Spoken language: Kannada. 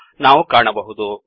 ಎಂದು ನಾವು ಕಾಣಬಹುದು